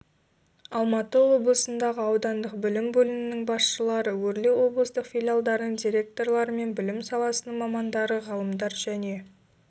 алматы облысындағы аудандық білім бөлімінің басшылары өрлеуоблыстық филиалдарының директорлары мен білім саласының мамандары ғалымдар және